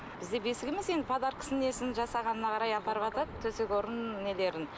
бізде бесік емес енді подаркасын несін жасағанына қарай апарыватады төсек орын нелерін